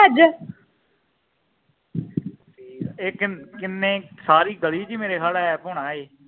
ਇਹ ਕਿੰਨੇ ਸਾਰੀ ਗਲੀ ਚ ਈ ਮੇਰੇ ਸਾਬ ਨਾਲ ਐੱਪ ਹੋਣਾ ਇਹ